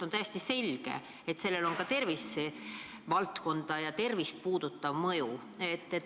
On täiesti selge, et sellel on ka rahva tervist puudutav mõju.